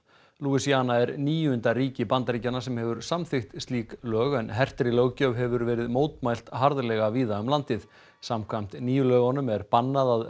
louisiana er níunda ríki Bandaríkjanna sem hefur samþykkt slík lög en hertri löggjöf hefur verið mótmælt harðlega víða um landið samkvæmt nýju lögunum er bannað að